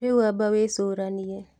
Rĩũ amba wĩcũranie